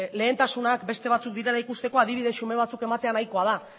lehentasunak beste batzuk direla ikusteko adibide xume batzuk ematea nahikoa da